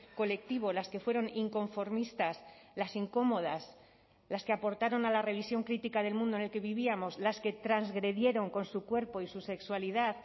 colectivo las que fueron inconformistas las incómodas las que aportaron a la revisión crítica del mundo en el que vivíamos las que transgredieron con su cuerpo y su sexualidad